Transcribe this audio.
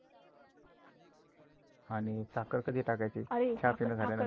आणि साखर कधी टाकायची? चहा पिन झाल्या नंतर.